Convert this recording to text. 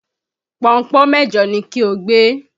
Pọnpọ́n mejo ni kí o gbé!